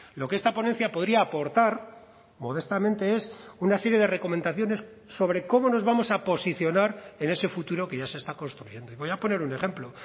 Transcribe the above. lo que esta ponencia podría aportar modestamente es una serie de recomendaciones sobre cómo nos vamos a posicionar en ese futuro que ya se está construyendo y voy a poner un ejemplo